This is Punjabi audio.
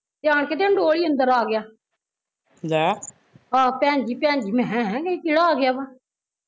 ਤੇ ਆਣ ਕੇ ਉਵੇ ਹੀਂ ਅੰਦਰ ਆ ਗਿਆ ਆਹੋ ਭੈਣ ਜੀ ਭੈਣ ਜੀ ਮੈਂ ਕਿਹਾ ਹੈਂ ਏਹ ਕਿਹੜਾ ਆ ਗਿਆ ਵਾ